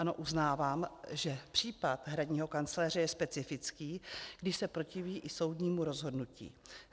Ano, uznávám, že případ hradního kancléře je specifický, když se protiví i soudnímu rozhodnutí.